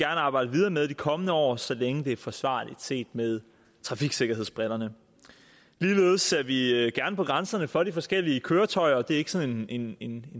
arbejde videre med i de kommende år så længe det er forsvarligt set med trafiksikkerhedsbrillerne ligeledes ser vi gerne på grænserne for de forskellige køretøjer det er ikke sådan en en